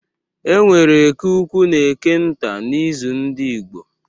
E nwere Eke ukwu na Eke nta n’izu ndị Igbo.